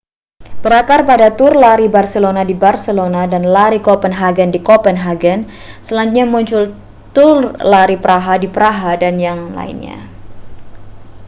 berakar pada tur lari barcelona di barcelona dan lari kopenhagen di kopenhagen selanjutnya muncul tur lari praha di praha dan yang lainnya